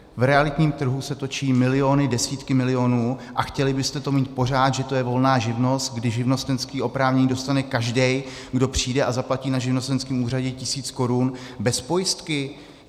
V realitním trhu se točí miliony, desítky milionů, a chtěli byste to mít pořád, že to je volná živnost, kdy živnostenské oprávnění dostane každý, kdo přijde a zaplatí na živnostenském úřadě tisíc korun, bez pojistky?